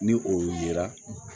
Ni o yera